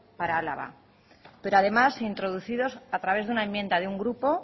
para álava pero además introducidos a través de una enmienda de un grupo